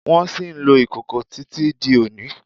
Wón ṣì ń lò ìkòkò tí tí di òní